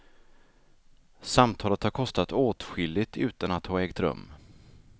Samtalet har kostat åtskilligt utan att ha ägt rum.